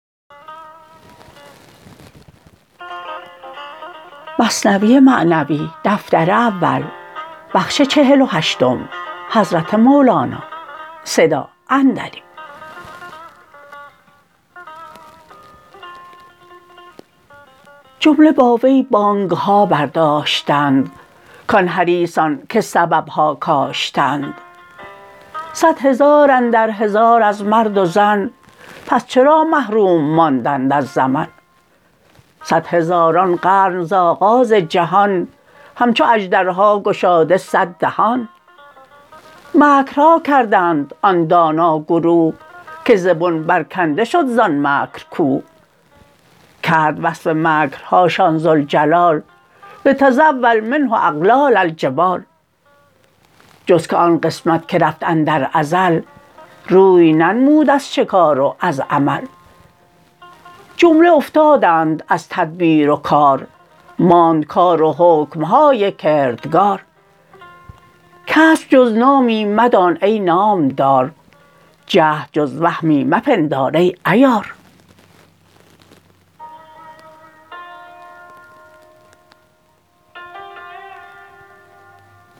جمله با وی بانگ ها بر داشتند کان حریصان که سبب ها کاشتند صد هزار اندر هزار از مرد و زن پس چرا محروم ماندند از زمن صد هزار ان قرن ز آغاز جهان همچو اژدر ها گشاده صد دهان مکر ها کردند آن دانا گروه که ز بن بر کنده شد زان مکر کوه کرد وصف مکر هاشان ذوالجلال لتزول منۡه اقلال ٱلجبال جز که آن قسمت که رفت اندر ازل روی ننمود از شکار و از عمل جمله افتادند از تدبیر و کار ماند کار و حکم های کردگار کسپ جز نامی مدان ای نام دار جهد جز وهمی مپندار ای عیار